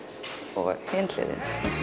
og hin hliðin